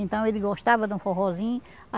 Então, ele gostava de um forrózinho.